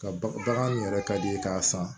Ka ba bagan min yɛrɛ ka di i ye k'a san